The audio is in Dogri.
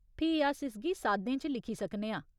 फ्ही अस इसगी साद्दें च लिखी सकने आं।